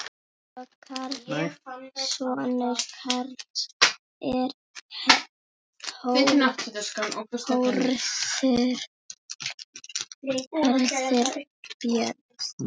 Sonur Karls er Hörður Björn.